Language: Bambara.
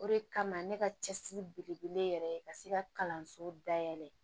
O de kama ne ka cɛsiri belebele yɛrɛ ka se ka kalanso dayɛlɛ